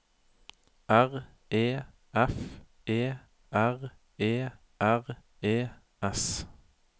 R E F E R E R E S